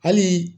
Hali